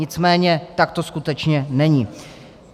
Nicméně tak to skutečně není.